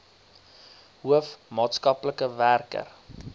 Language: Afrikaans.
hoof maatskaplike werker